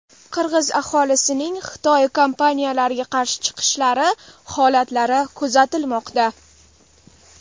Qirg‘iz aholisining Xitoy kompaniyalariga qarshi chiqishlari holatlari kuzatilmoqda.